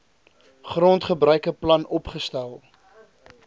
grondgebruike plan opgestel